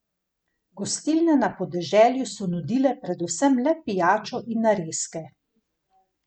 Gostilne na podeželju so nudile predvsem le pijačo in narezke.